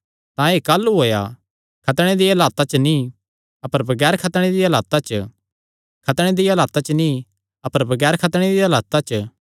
तां एह़ काह़लू होएया खतणे दिया हालता च नीं अपर बगैर खतणे दिया हालता च खतणे दिया हालता च नीं अपर बगैर खतणे दिया हालता च